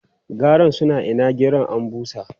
Garan suna ko'ina gero an bushe.